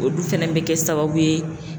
Odu fɛnɛ bɛ kɛ sababu ye.